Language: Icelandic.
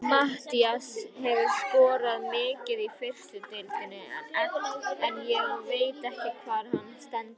Matthías hefur skorað mikið í fyrstu deildinni en ég veit ekki hvar hann stendur.